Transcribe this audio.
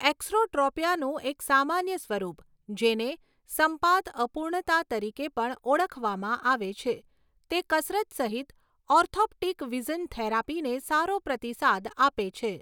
એક્સોટ્રોપિયાનું એક સામાન્ય સ્વરૂપ, જેને સંપાત અપૂર્ણતા તરીકે પણ ઓળખવામાં આવે છે, તે કસરત સહિત ઓર્થોપ્ટિક વિઝન થેરાપીને સારો પ્રતિસાદ આપે છે.